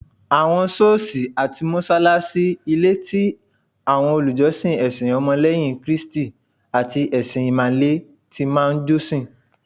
Awon soosi ati mosalasi, ni ilé ti awọn olùjọsìn ẹsìn ọmọ leyin kristi ati ẹṣin imale ti máa n josin